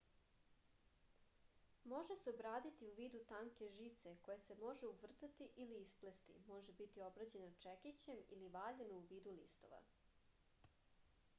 može se obraditi u vidu tanke žice koja se može uvrtati ili isplesti može biti obrađeno čekićem ili valjano u vidu listova